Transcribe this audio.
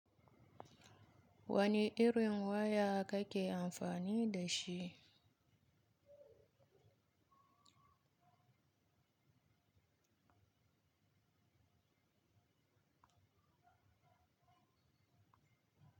Wane irin waya kake amfani da shi?